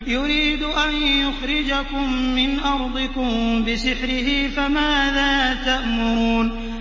يُرِيدُ أَن يُخْرِجَكُم مِّنْ أَرْضِكُم بِسِحْرِهِ فَمَاذَا تَأْمُرُونَ